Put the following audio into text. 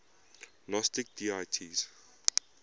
gnostic deities